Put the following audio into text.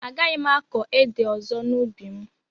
Agaghị m akọ ede ọzọ n'ubi m